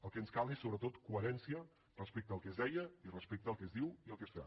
el que ens cal és sobretot coherència respecte al que es deia i respecte al que es diu i el que es fa